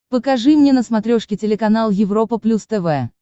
покажи мне на смотрешке телеканал европа плюс тв